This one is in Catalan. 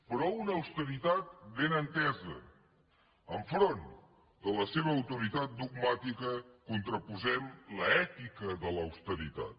però una austeritat ben entesa enfront de la seva autoritat dogmàtica contraposem l’ètica de l’austeritat